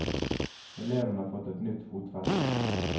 Elevene har fått et nytt fotfeste.